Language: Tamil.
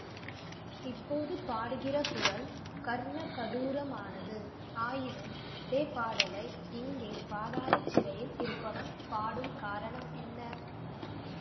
இப்போது பாடுகிற குரல் கர்ணகடூரமானது ஆயினும் அதே பாடலை இங்கே பாதாள சிறையில் இருப்பவன் பாடும் காரணம் என்ன